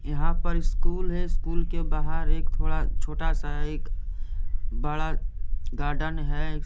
यहां पर स्कूल है स्कूल के बाहर एक थोड़ा छोटा सा एक बड़ा गार्डन है।